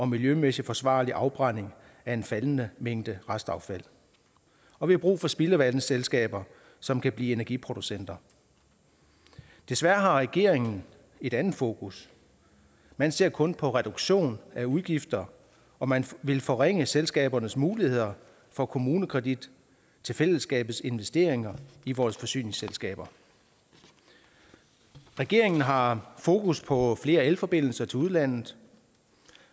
miljømæssigt forsvarlig afbrænding af en faldende mængde restaffald og vi har brug for spildevandsselskaber som kan blive energiproducenter desværre har regeringen et andet fokus man ser kun på reduktion af udgifter og man vil forringe selskabernes muligheder for kommunekredit til fællesskabets investeringer i vores forsyningsselskaber regeringen har fokus på flere elforbindelser til udlandet